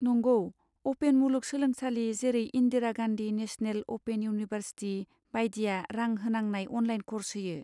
नंगौ, अपेन मुलुग सोलोंसालि जेरै Indira Gandhi national open university बाइदिया रां होनांनाय अनलाइन क'र्स होयो।